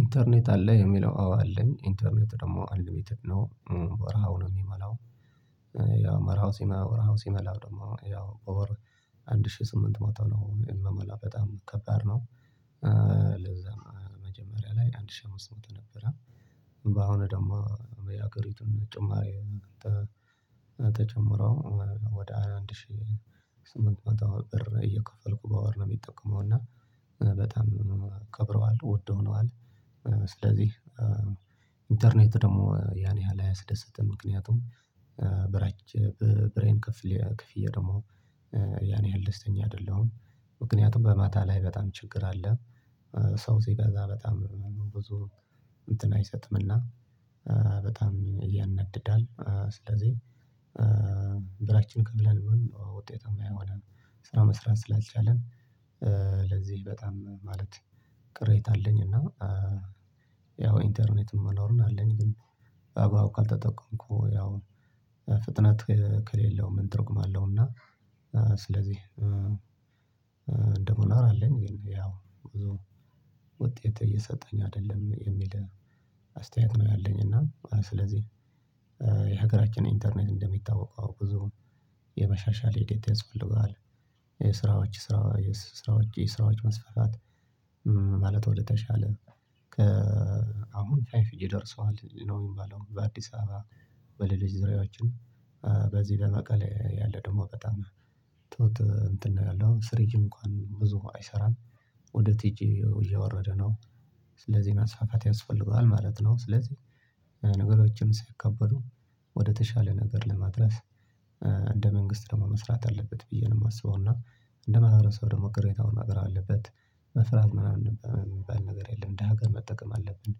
ኢንተርኔት አለ የሚለው አዎ አለኝ ኢንተርኔት ደግሞ አንሊሚትድ ነው ወርሃዊ ነው የምሞላው። ያው ወርሃዊ ሲሞላ መርሃዊው ሲሞላ ደግሞ ያው አንድ ሺህ ስምንት መቶ ነው ምሞላ በጣም ከባድ ነው። ለዛ መጀመሪያ ላይ አንድ ሺህ አምስት መቶ ነበረ። አሁን ደግሞ በየሀገሪቱን ጭማሪ ተጨምሮ ወደ አንድ ሺህ ስምንት መቶ ብር እየከፈልኩ በወር ነው የምጠቀመው። እና በጣም ከብረዋል ውድ ሆነዋል። ስለዚህ ኢንተርኔት ደግሞ ያን ያህል አያስደስትም። ምክንያቱም ብሬን ከፍዬ ደግሞ ያን ያህል ደስተኛ አይደለሁም። ምክንያቱም በማታ ላይ በጣም ችግር አለ። ሰው ሲበዛ በጣም ብዙ እንትን አይሰጥምና በጣም ያናድዳል። ስለዚህ ብራችን ከፍለን ውጤታማ የሆነ ስራ መስራት ስላልቻልን። ለዚህ በጣም ማለት ቅሬታ አለኝ። እና ያው ኢንተርኔት መኖሩን አለኝ ግን በአግባቡ ካልተጠቀምኩ ያው ፍጥነት ከሌለው ምን ትርጉም አለው? እና ስለዚህ ደግሞ እናወራለን ግን ያው ብዙ ውጤት እየሰጠኝ አይደለም የሚል አስተያየት ነው። ያለኝ እና ስለዚህ የሀገራችን ኢንተርኔት እንደሚታወቀው ብዙ የመሻሻል ሂደት ያስፈልገዋል። የስራዎች ስራዎች የስራዎች መስፋፋት ማለት ወደ ተሻለ አሁን ፋይቭ ጂ ደርሷል ነው የሚባለው። በአዲስ አበባ በሌሎች ዙርያዎችን በዚህ በመቀሌ ያለ ደግሞ በጣም እንትን ነው ያለው ስሪጅ እንኳን ብዙ አይሰራም። ወደ ቱጂ እየወረደ ነው ስለዚህ መስፋፋት ያስፈልገዋል ማለት ነው። ስለዚህ ነገሮችን ሲከበሩ ወደተሻለ ነገር ለማድረስ እንደ መንግስት ደግሞ መስራት አለበት ብዬ ነው የማስበው። እና እንደማህበረሰብ ደግሞ ቅሬታውን ማቅረብ አለበት መፍራት ምናምን የሚባል ነገር የለም። እንደ ሀገር መጠቀም አለብን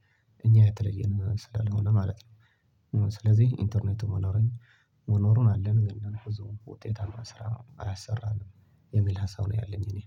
እኛ የተለየን ስላልሆነ ማለት ነው። ስለዚህ ኢንተርኔት መኖሩን አለ እንደህዝቡ ውጤታማ ስራ አያሰራም የሚል ሀሳብ ነው ያለኝ። እኔ